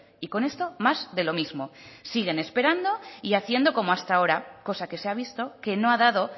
y con esto más de lo mismo siguen esperando y haciendo como hasta ahora cosa que se ha visto que no ha dado